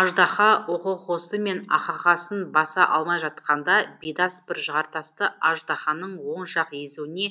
аждаһа охохосы мен ахахасын баса алмай жатқанда бидас бір жартасты аждаһаның оң жақ езуіне